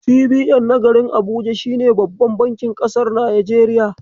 CBN na garin Abuja shine babban bankin ƙasar Nijeriya.